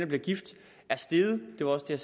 bliver gift er steget det var også det